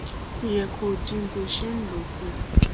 ó yẹ kó dín bó ṣe ń lò ó kù